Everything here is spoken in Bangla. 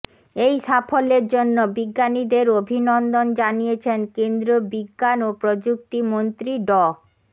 এই সাফল্যের জন্য বিজ্ঞানীদের অভিনন্দন জানিয়েছেন কেন্দ্রীয় বিজ্ঞান ও প্রযুক্তি মন্ত্রী ড